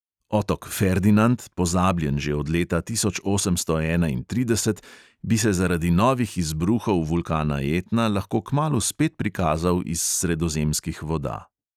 Otok ferdinand, pozabljen že od leta tisoč osemsto enaintrideset, bi se zaradi novih izbruhov vulkana etna lahko kmalu spet prikazal iz sredozemskih voda.